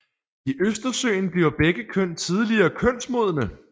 I Østersøen bliver begge køn tidligere kønsmodne